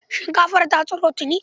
Shinkafar ta tsiro tuni.